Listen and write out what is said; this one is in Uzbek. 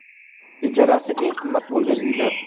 Ijarasi eng qimmat bo‘lgan uylar.